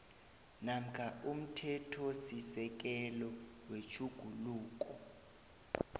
namkha umthethosisekelo wetjhuguluko